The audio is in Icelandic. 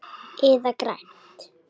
Eða grænt.